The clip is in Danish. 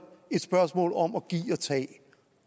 et spørgsmål om at give og tage